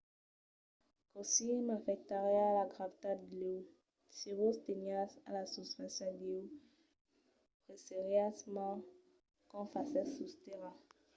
cossí m'afectariá la gravetat d'io? se vos teniatz a la susfàcia d'io pesariatz mens qu'o fasètz sus tèrra